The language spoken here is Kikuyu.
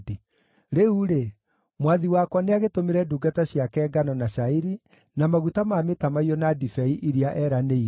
“Rĩu-rĩ, mwathi wakwa nĩagĩtũmĩre ndungata ciake ngano na cairi, na maguta ma mĩtamaiyũ na ndibei iria eranĩire,